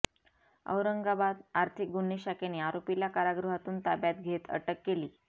औरंगाबाद आर्थिक गुन्हे शाखेने आरोपीला कारागृहातून ताब्यात घेत अटक केली